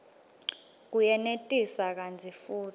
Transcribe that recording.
kuyenetisa kantsi futsi